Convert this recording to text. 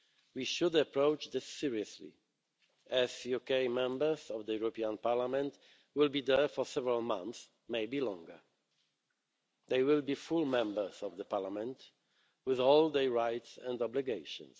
We should approach this seriously, as UK Members of the European Parliament will be there for several months, maybe longer. They will be full Members of the Parliament, with all their rights and obligations.